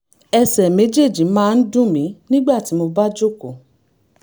ẹsẹ̀ méjèèjì máa ń dùn mí nígbà tí mo bá jókòó